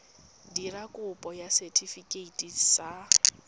dira kopo ya setefikeiti sa